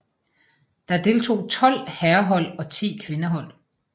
Der deltog tolv herrehold og ti kvindehold